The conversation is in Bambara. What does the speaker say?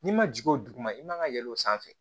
N'i ma jigin o duguma i man ka yɛlɛ o sanfɛ